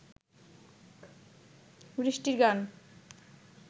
বৃষ্টির গান